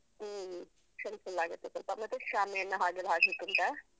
ಹ್ಮ helpful ಆಗತ್ತೆ ಸ್ವಲ್ಪ, ಮತ್ತೆ ಶಾಮಿಯಾನ ಹಾಗೆಲ್ಲ ಹಾಕ್ಲಿಕ್ಕುಂಟಾ?